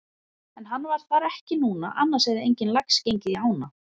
En hann var þar ekki núna annars hefði enginn lax gengið í ána.